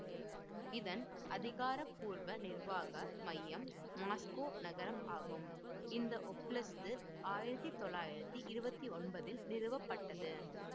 இதன் அதிகாரப்பூர்வ நிர்வாக மையம் மாஸ்கோ நகரம் ஆகும் இந்த ஓப்லஸ்து ஆயிரத்தி தொள்ளாயிரத்தி இருபத்தி ஒன்பதில் நிறுவப்பட்டது